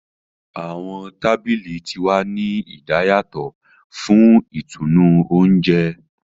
Awọn tábìlì tí wá ní idayatọ fún ìtùnú oúnjẹ.